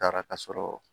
Taara ka sɔrɔ